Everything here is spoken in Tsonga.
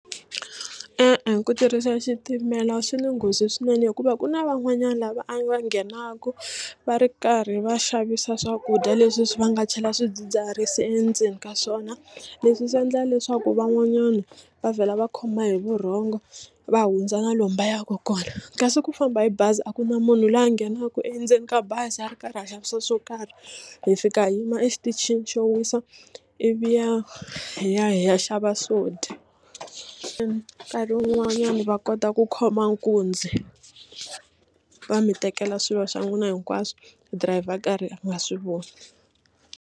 E-e ku tirhisa xitimela swi ni nghozi swinene hikuva ku na van'wanyana lava a va nghenaka va ri karhi va xavisa swakudya leswi swi va nga chela swidzidziharisi endzeni ka swona leswi swi endla leswaku van'wanyana va vhela va khoma hi vurhongo va hundza na lomu va yaka kona kasi ku famba hi bazi a ku na munhu loyi a nghenaka endzeni ka bazi a ri karhi a xavisa swo karhi hi fika hi yima exitichini xo wisa ivi ya hi ya hi ya xava swo dya nkarhi wun'wanyana va kota ku khoma nkunzi va mi tekela swilo swa n'wina hinkwaswo dirayivha a karhi a nga swi voni.